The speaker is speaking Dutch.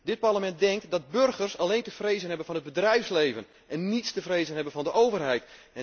Dit Parlement denkt dat burgers alleen te vrezen hebben van het bedrijfsleven en niets te vrezen hebben van de overheid.